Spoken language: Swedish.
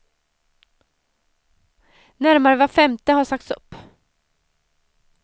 Närmare var femte har sagts upp.